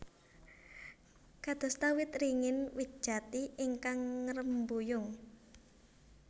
Kadosta wit ringin wit jati ingkang ngrembuyung